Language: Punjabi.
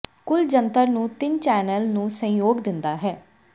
ਕੁੱਲ ਜੰਤਰ ਨੂੰ ਤਿੰਨ ਚੈਨਲ ਨੂੰ ਸਹਿਯੋਗ ਦਿੰਦਾ ਹੈ